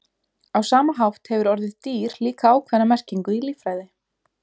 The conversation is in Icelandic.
Á sama hátt hefur orðið dýr líka ákveðna merkingu í líffræði.